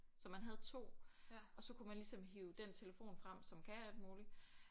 Så man havde 2 og så kunne man ligesom hive den telefon frem som kan alt muligt